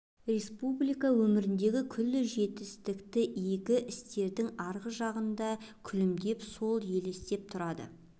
республика өміріндегі күллі жетістік игі істердің арғы жағында күлімдеп сол елестеп тұрады